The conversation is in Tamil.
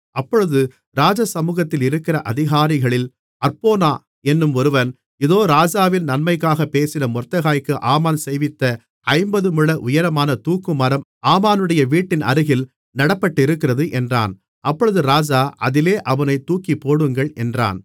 அப்பொழுது ராஜசமுகத்தில் இருக்கிற அதிகாரிகளில் அற்போனா என்னும் ஒருவன் இதோ ராஜாவின் நன்மைக்காகப் பேசின மொர்தெகாய்க்கு ஆமான் செய்வித்த ஐம்பது முழ உயரமான தூக்குமரம் ஆமானுடைய வீட்டின் அருகில் நடப்பட்டிருக்கிறது என்றான் அப்பொழுது ராஜா அதிலே அவனைத் தூக்கிப்போடுங்கள் என்றான்